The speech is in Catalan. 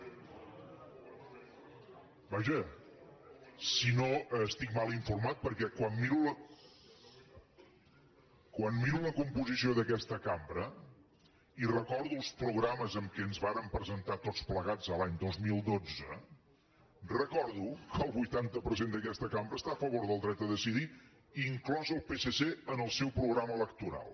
vaja si no estic mal informat perquè quan miro la composició d’aquesta cambra i recordo els programes amb què ens vàrem presentar tots plegats l’any dos mil dotze recordo que el vuitanta per cent d’aquesta cambra està a favor del dret a decidir inclòs el psc en el seu programa electoral